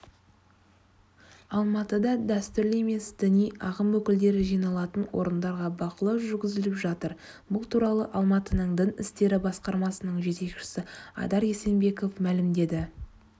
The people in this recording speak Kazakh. алматыда дәстүрлі емес діни ағым өкілдері жиналатын орындарға бақылау жүргізіліп жатыр бұл туралы алматының дін істері басқармасының жетекшісі айдар есенбеков мәлімдеді